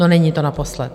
No, není to naposled.